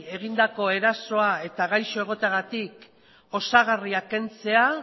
egindako erasoa eta gaixo egoteagatik osagarria kentzea